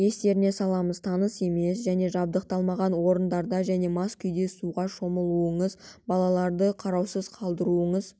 естеріне саламыз таныс емес және жабдықталмаған орындарда және мас күйінде суға шомылмаңыз балаларды қараусыз қалдырмаңыз